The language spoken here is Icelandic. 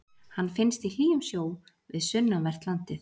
Hann finnst í hlýjum sjó við sunnanvert landið.